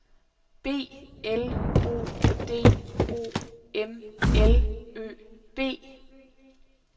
B L O D O M L Ø B